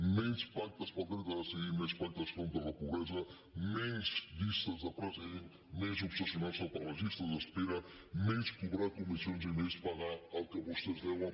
menys pactes pel dret a decidir i més pactes contra la pobresa menys llistes de presidents més obsessio narse per les llistes d’espera menys cobrar comissions i més pagar el que vostès deuen